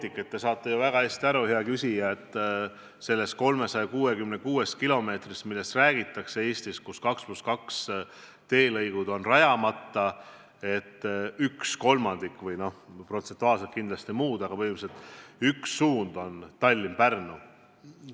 Hea küsija, te saate ju väga hästi aru, et sellest 366 kilomeetrist, millest Eesti puhul räägitakse seoses sellega, et 2 + 2 teelõigud on rajamata, üks kolmandik – protsentuaalselt kindlasti teistsugune suurus, aga põhimõtteliselt üks suund – on Tallinna–Pärnu maantee.